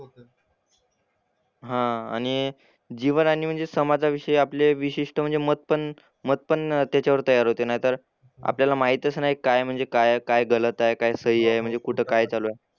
हां आणि जीवन आणि समाजाविषयी आपले विशिष्ट म्हणजे मत पण मतपण त्याच्यावर तयार होते नाहीतर आपल्याला माहीतच नाही काय म्हणजे काय आहे काय गलत आहे काय सही आहे म्हणजे कुठं काय चालू आहे.